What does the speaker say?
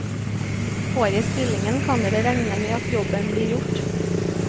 Får jeg stillingen kan dere regne med at jobben blir gjort.